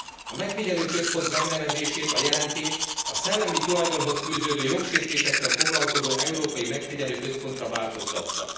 A megfigyelőközpont megnevezését a jelentés a szellemi tulajdonhoz fűződő jogsértésekkel foglalkozó európai megfigyelőközpontra változtatta.